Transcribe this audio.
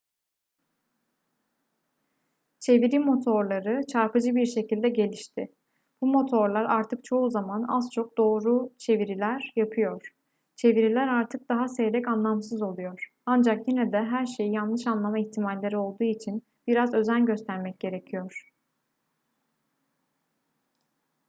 çeviri motorları çarpıcı bir şekilde gelişti. bu motorlar artık çoğu zaman az çok doğru çeviriler yapıyor çeviriler artık daha seyrek anlamsız oluyor ancak yine de her şeyi yanlış anlama ihtimalleri olduğu için biraz özen göstermek gerekiyor